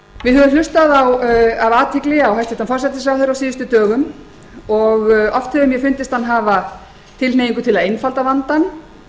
við höfum hlustað af athygli á hæstvirtan forsætisráðherra á síðustu dögum og oft hefur mér fundist hann hafa tilhneigingu til að einfalda vandann